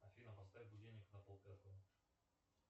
афина поставь будильник на полпятого